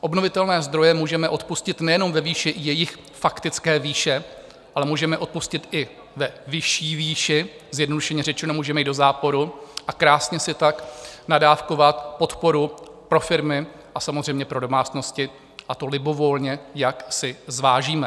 Obnovitelné zdroje můžeme odpustit nejenom ve výši jejich faktické výše, ale můžeme odpustit i ve vyšší výši, zjednodušeně řečeno, můžeme jít do záporu a krásně si tak nadávkovat podporu pro firmy a samozřejmě pro domácnosti, a to libovolně, jak si zvážíme.